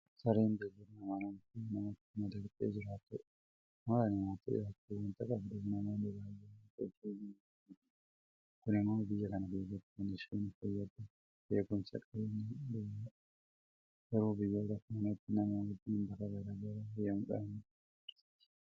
Sareen beellada amanamtuu namatti madaqxee jiraattudha. Amala namatti dhiyaachuu waanta qabduuf namoonni baay'een akka ishee jaalatan ta'eera. Kun immoo biyya kana keessatti kan isheen fayyaddu eegumsa qabeenyaa duwwaadhaafi. Garuu biyyoota kaanitti nama wajjiin bakka garaa garaa deemuudhaan nama bohaarsiti.